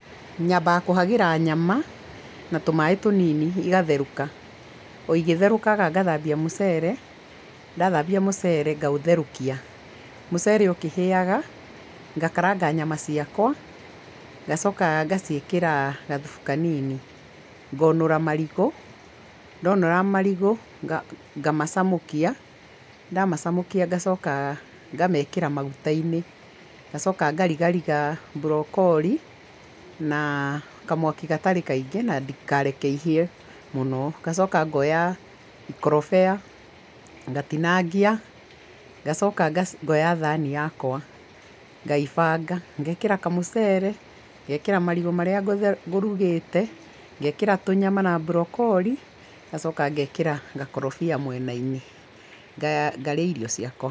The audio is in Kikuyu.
Nyambaga kũhagĩra nyama na tũmaĩ tũnini igatherũka, o igĩtherũkaga ngathambia mũcere, ndathambia mũcere ngaũtherũkia. Mũcere ũkĩhĩaga, ngakaranga nyama ciakwa ngacoka ngaciĩkĩra gathubu kanini. Ngonũra marigũ, ndonũra marigũ ngamacamũkia, ndamacamũkia ngacoka ngamekĩra maguta-inĩ, ngacoka ngarigariga mburokori na kamwaki gatarĩ kaingĩ na ndikareke ihĩe mũno, ngacoka ngoya ikorobia ngatinangia ngacoka ngoya thani yakwa, ngaibanga, ngekĩra kamũcere, ngekĩra marigũ marĩa ngũrugĩte, ngekĩra tũnyama na mburokori, ngacoka ngekĩra gakorobia mwena-inĩ, ngarĩa irio ciakwa.